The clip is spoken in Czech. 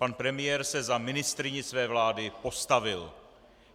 Pan premiér se za ministryni své vlády postavil.